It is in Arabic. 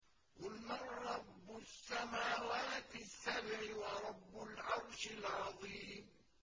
قُلْ مَن رَّبُّ السَّمَاوَاتِ السَّبْعِ وَرَبُّ الْعَرْشِ الْعَظِيمِ